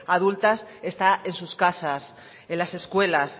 adultas está en sus casas en las escuelas